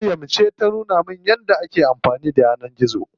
Maryam ce ta nuna min yadda ake amfani da yanar gizo.